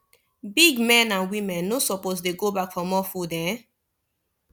big men and women no suppose dey go back for more food um